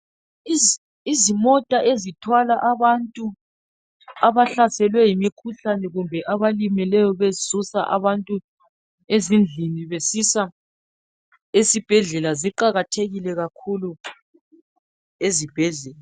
Izimota ezithwala abantu abahlaselwe yimikhuhlane kumbe abalimeleyo besusa abantu ezindlini besisa esibhedlela ziqakathekile kakhulu ezibhedlela.